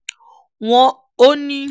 won ó ní